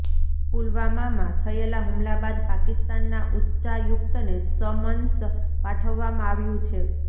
પુલવામામાં થયેલા હુમલા બાદ પાકિસ્તાનના ઉચ્ચાયુક્તને સમન્સ પાઠવવામાં આવ્યું છે